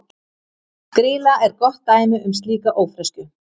Grýla er gott dæmi um slíka ófreskju.